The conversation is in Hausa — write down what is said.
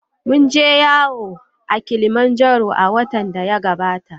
Mun je yawo a Kilimanjaro a watan da ya gabata.